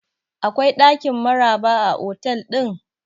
Akwai ɗakin Maraba a otal ɗin?